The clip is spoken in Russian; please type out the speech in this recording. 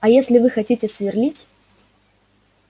а если вы хотите сверлить